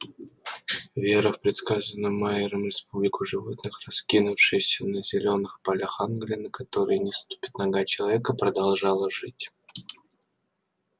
вера в предсказанную майером республику животных раскинувшуюся на зелёных полях англии на которые не ступит нога человека продолжала жить